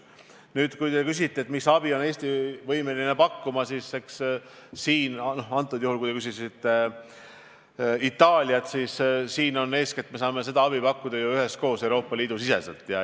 Nüüd, kui te küsite, millist abi on Eesti võimeline pakkuma, siis näiteks Itaaliaga seoses saame abi pakkuda eeskätt üheskoos Euroopa Liidu sees.